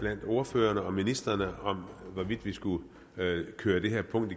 blandt ordførerne og ministrene om hvorvidt vi skulle køre det her punkt